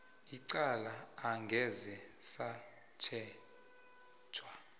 icala angeze satjhejwa